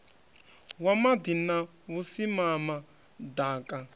wa maḓi na vhusimama ḓaka